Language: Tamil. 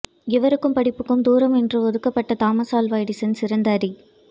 இவருக்கும் படிப்புக்கும் தூரம் என்று ஒதுக்கப்பட்ட தாமஸ் ஆல்வா எடிசன் சிறந்த அறி